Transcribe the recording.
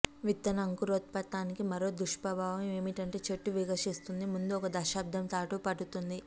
విత్తన అంకురోత్వానికి మరో దుష్ప్రభావం ఏమిటంటే చెట్టు వికసిస్తుంది ముందు ఒక దశాబ్దం పాటు పడుతుంది